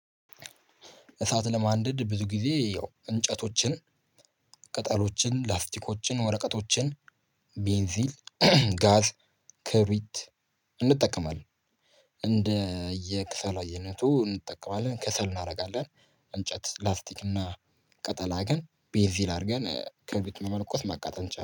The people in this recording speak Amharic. እሳት ለማንደድ ብዙ ጊዜ ያው እንጨቶችን ቅጠሎችን ላስቲኮችን ወረቀቶችን ቤንዚል ጋዝ ክብሪት እንጠቀማለን እንደየ ከሰል አይነቱ እንጠቀማለን ከሰል እናደርጋለን። እንጨት ላስቲክ እና ቅጠል አድርገን ቤንዚል አድርገን ክብሪቱን መለኮስ መቃጠል እንችላለን